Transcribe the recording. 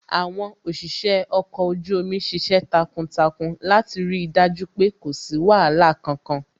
Àwọn òṣìṣẹ́ ọkọ̀ ojú omi ṣiṣẹ́ takuntakun láti rí dájú pé kò sí wàhálà kankan